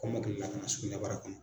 Kɔmɔkilila ka na sugunɛbara kɔnɔ.